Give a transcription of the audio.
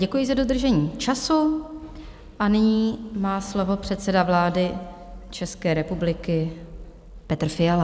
Děkuji za dodržení času a nyní má slovo předseda vlády České republiky Petr Fiala.